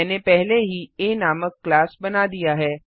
मैंने पहले ही आ नामक क्लास बना दिया है